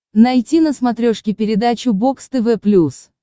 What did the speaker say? найти на смотрешке передачу бокс тв плюс